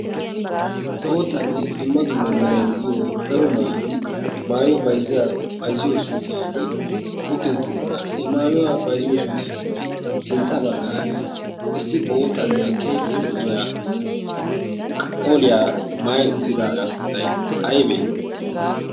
Boottanne dumma dumma meray de'iyo daro maayoti maayuwa bayzziyo suqqiyaan utti uttidoosona. He maayuwa bayzziyo suqqiyappe sintta baggan issi boottanne keehippe lo''iya qolliya maayyi uttidaaga sunttay aybbe?